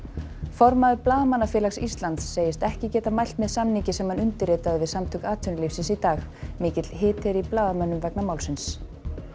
formaður Blaðamannafélags Íslands segist ekki geta mælt með samningi sem hann undirritaði við Samtök atvinnulífsins í dag mikill hiti er í blaðamönnum vegna málsins